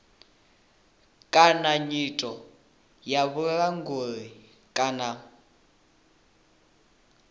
kana nyito ya vhulanguli kana